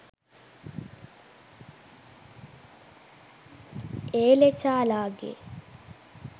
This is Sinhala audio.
ඒ ලෙචාලාගේ